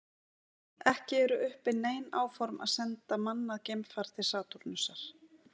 Ekki eru uppi nein áform að senda mannað geimfar til Satúrnusar.